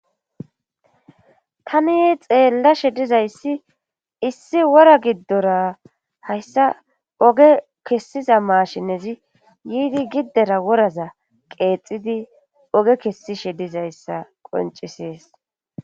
Tani xeellashe dizayssi issi wora giddora hayssa oge kessiza maashinezi yiidi giddera woraza qeexidi oge kessishe dizayssa qoncisees